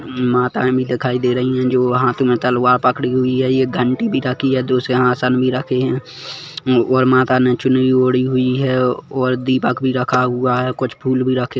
माताएं दिखाई दे रही है जो हाथ मे तलवार पकड़ी हुई है एक घंटी भी रखी है दो सिंघासन में भी रखे है और माता ने चुन्नी ओढ़ी हुई है और दीपक भी रखा हुआ है कुछ फूल भी रखे--